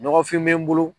Ɲɔgɔnfin bɛ n bolo